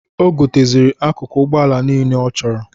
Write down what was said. O goteziri akụkụ Ụgbọala nile ọ chọrọ.